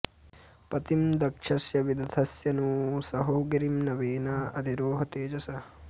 पतिं दक्षस्य विदथस्य नू सहो गिरिं न वेना अधि रोह तेजसा